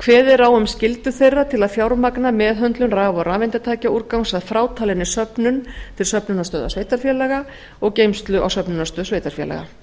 kveðið er á um skyldur þeirra til að fjármagna meðhöndlun raf og rafeindatækjaúrgangs að frátalinni söfnun til söfnunarstöðva sveitarfélaga og geymslu á söfnunarstöð sveitarfélaga